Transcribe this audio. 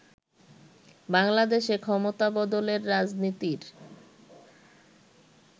বাংলাদেশে ক্ষমতাবদলের রাজনীতির